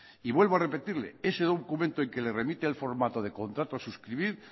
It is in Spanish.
y vuelvo a repetirle ese documento en que le remite el formato de contrato a suscribir